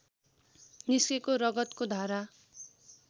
निस्केको रगतको धारा